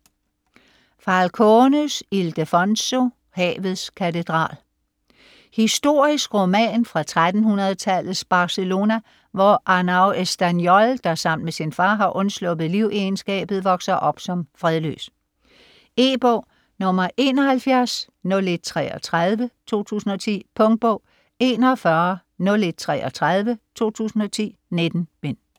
Falcones, Ildefonso: Havets katedral Historisk roman fra 1300-tallets Barcelona, hvor Arnau Estanyol, der sammen med sin far har undsluppet livegenskabet, vokser op som fredløs. E-bog 710133 2010. Punktbog 410133 2010. 19 bind.